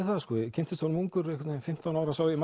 það ég kynntist honum ungur fimmtán ára sá ég